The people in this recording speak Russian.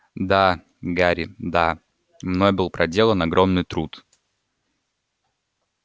да гарри да мной был проделан огромный труд